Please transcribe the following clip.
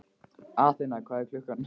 Athena, hvað er klukkan?